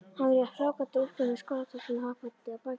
Hann var í fráflakandi úlpu með skólatöskuna hoppandi á bakinu.